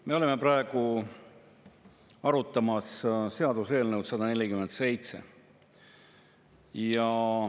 Me oleme praegu arutamas seaduseelnõu 147.